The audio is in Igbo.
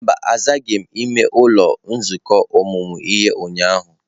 Mba, azaghị m ụlọ nzukọ ọmụmụ ihe ụnyahụ.